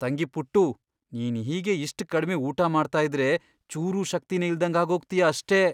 ತಂಗಿ ಪುಟ್ಟೂ, ನೀನ್ ಹೀಗೇ ಇಷ್ಟ್ ಕಡ್ಮೆ ಊಟ ಮಾಡ್ತಾ ಇದ್ರೆ ಚೂರೂ ಶಕ್ತಿನೇ ಇಲ್ದಂಗ್ ಆಗೋಗ್ತೀಯ ಅಷ್ಟೇ.